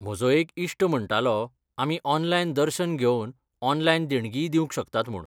म्हजो एक इश्ट म्हण्टालो आमी ऑनलायन दर्शन घेवन ऑनलायन देणगीय दिवंक शकतात म्हूण.